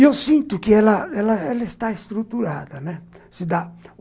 E eu sinto que ela ela ela está estruturada, né, se dá